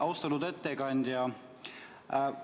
Austatud ettekandja!